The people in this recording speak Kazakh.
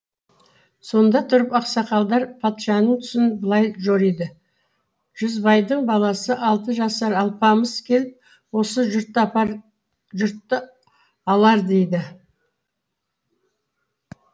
сонда тұрып ақсақалдар патшаның түсін былай жориды жүзбайдың баласы алты жасар алпамыс келіп осы жұртты алар дейді